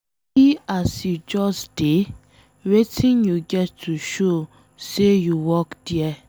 See as you just dey, wetin you get to show say you work there